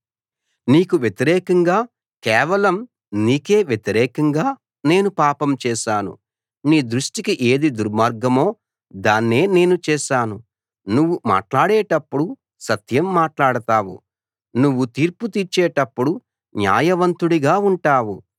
నీకు వ్యతిరేకంగా కేవలం నీకే వ్యతిరేకంగా నేను పాపం చేశాను నీ దృష్టికి ఏది దుర్మార్గమో దాన్నే నేను చేశాను నువ్వు మాట్లాడేటప్పుడు సత్యం మాట్లాడుతావు నువ్వు తీర్పు తీర్చేటప్పుడు న్యాయవంతుడిగా ఉంటావు